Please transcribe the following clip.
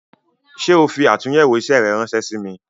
Ṣé o fi atunyewo isẹ rẹ ránsẹ́ sí mi "